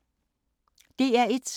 DR1